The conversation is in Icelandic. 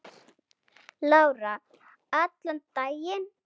Lára: Allan daginn?